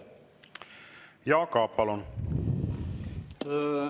Jaak Aab, palun!